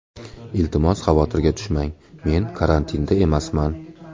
Iltimos, xavotirga tushmang, men karantinda emasman.